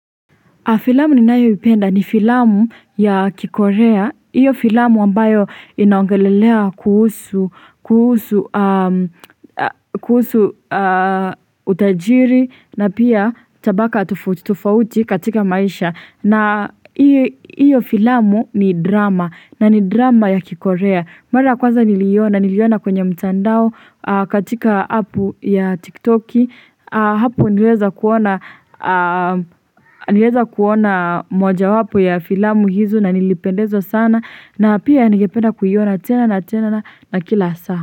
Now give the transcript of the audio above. Filamu ninayoipenda ni filamu ya kikorea. Hiyo filamu ambayo inaongelelea kuhusu utajiri na pia tabaka tofauti tofauti katika maisha. Na hiyo filamu ni drama na ni drama ya kikorea. Mara ya kwanza niliona, niliona kwenye mtandao katika app ya tiktoki. Hapo niliweza kuona niliweza kuona mojawapo ya filamu hizo na nilipendezwa sana na pia ningependa kuiona tena na tena na kila saa.